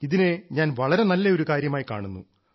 ഇതിനെ ഞാൻ വളരെ നല്ല ഒരു കാര്യമായി കാണുന്നു